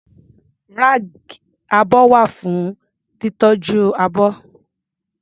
Ráàkì abọ́ wà fún títọ́jú abọ́.